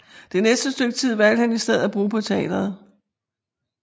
Det næste stykke tid valgte han i stedet at bruge på teateret